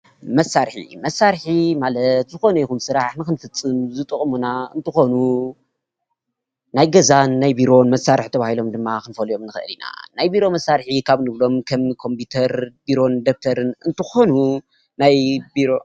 መሳርሒ፡- መሳርሒ ማለት ዝኮነ ይኩን ስራሕ ንክንፍፅም ዝጠቅሙና እንትኮኑ ናይ ገዛን ናይ ቢሮን መሳርሒ ተባሃሎም ድማ ክንፈልዮ ንክእል ኢና፡፡ ናይ ቢሮ መሳርሒ ካብ እንብሎም ከም ኮምፒተር፣ ቢሮን ደፍተርን እንትኮኑ ናይ ቢሮ ?